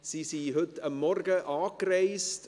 Sie sind heute Morgen angereist.